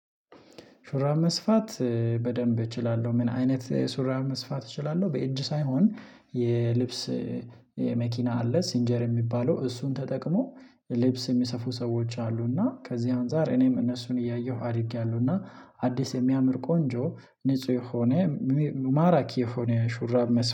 ሹራብ መስፋት በደንብ እችላለሁ። ምን አይነት ሹራብ መስፋት እችላለሁ በእጅ ሳይሆን የልብስ መኪና አለ 'ሲንጀር' የሚባለው። እሱን ተጠቅመው ልብስ የሚሰፉ ሰዎች አሉ እና ከዚህ አንፃር እኔም እነሱን እያየሁ አድጊያለሁ እና አዲስ፣ የሚያምር፣ ቆንጆ፣ ንጹህ የሆነ፣ ማራኪ የሆነ ሹራብ